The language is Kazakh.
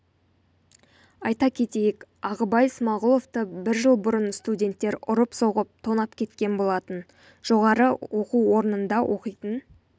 айта кетейік ағыбай смағұловты бір жыл бұрын студенттер ұрып-соғып тонап кеткен болатын жоғары оқу орнында оқитын